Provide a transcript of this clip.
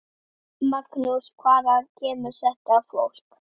Magnús: Hvaðan kemur þetta fólk?